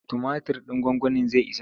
Tumatir ɗin gwagwanin zai isa?